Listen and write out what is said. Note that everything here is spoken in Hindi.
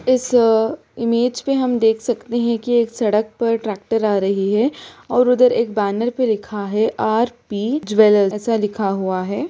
इस इमेज पे हम देख सकते है की एक ट्रैक्टर आ रही है और उधर एक बैनर पे लिखा है आर.पी. ज्वेलर्स ऐसा लिखा हुआ है।